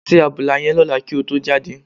Se àbùlà yẹn lọ́la kí o tó jáde.